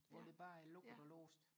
hvor der bare er lukket og låst